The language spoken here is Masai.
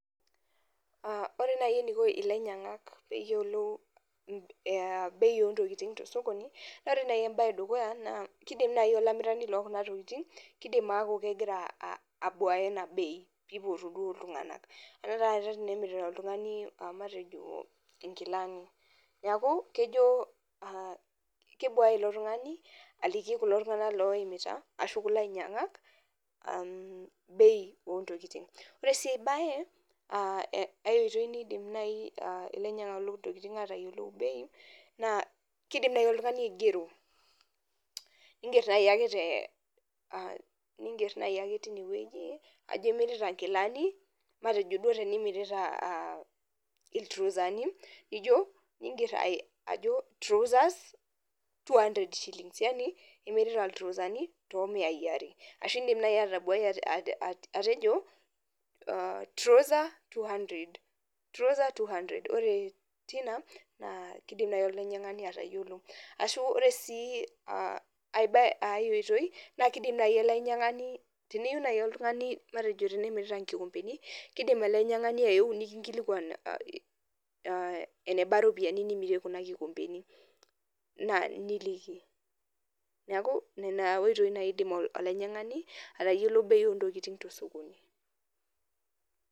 Ore naaji eneiko ilainyangak peeyiolou bei ontokitin tososkoni naa ore naaji embae edukuya naa keidim naaji olamirani loo kuna tookitin keiidim ataa kegira abuaya ena bei peipotu duo iltunganak anaa tanakata tenemirita oltungani matejo inkilani neeku kebuaya ilo tungani aliki kulo tungana laimita ashu kulo ainyangak bei oo ntokiting ore sii aibaye aai oitoi naidim naaji ilainyangak loo ntokitin atayiolito bei naa keidim naaji oltungani aigero ingerr naaji aje tine woji ajo imirita inkilani matejo duo tenimirita iltrosani nijo ningerr ajo trousers ksh 200 imirita introsani too miai are aashu keindim naaji olainyangani matejo tenimirita inkikompeni keidim olainyangani ayeu nikiinkilikuan enebaa ropiyiani nimirie kuna kikompeni niliki neeku nena oitoi naaaji eidim olainyangani atayielo bei oo ntokitin tosokoni.